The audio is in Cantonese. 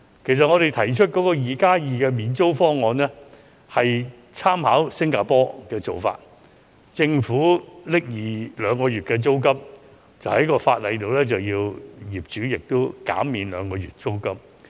其實，我們提出的 "2+2" 免租方案，是參考了新加坡的做法。由政府支付兩個月租金，並在法例上規定業主同時減免兩個月租金。